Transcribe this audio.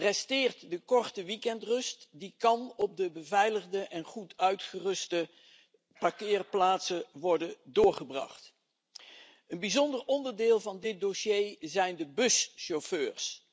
Resteert de korte weekendrust die kan op de beveiligde en goed uitgeruste parkeerplaatsen worden doorgebracht. Een bijzonder onderdeel van dit dossier zijn de buschauffeurs.